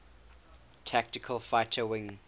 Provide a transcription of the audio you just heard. tactical fighter wing